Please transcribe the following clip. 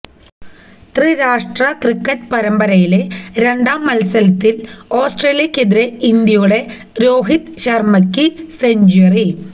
ത്രിരാഷ്ട്ര ക്രിക്കറ്റ് പരമ്പരയിലെ രണ്ടാം മത്സരത്തില് ഓസ്ട്രേലിയയ്ക്കെതിരെ ഇന്ത്യയുടെ രോഹിത് ശര്മ്മയ്ക്ക് സെഞ്ച്വറി